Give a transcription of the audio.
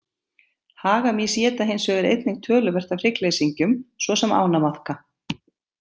Hagamýs éta hins vegar einnig töluvert af hryggleysingjum svo sem ánamaðka.